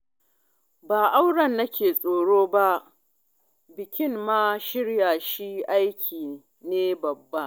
Ba auren nake tsoro ba, bikin ma shirya shi aiki ne babba